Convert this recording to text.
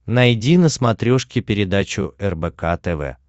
найди на смотрешке передачу рбк тв